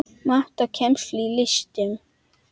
Mat á kennslu í listum